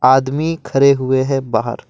आदमी खड़े हुए हैं बाहर।